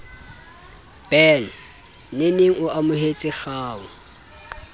ben nene o amohetse kgau